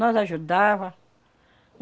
Nós ajudava.